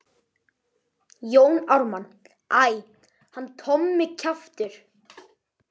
Jón Ármann: Æ, hann Tommi kjaftur.